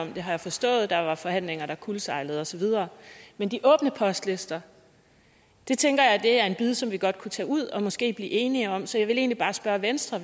om det har jeg forstået der var forhandlinger der kuldsejlede og så videre men de åbne postlister tænker jeg er en bid som vi godt kunne tage ud og måske blive enige om så jeg vil egentlig bare spørge venstre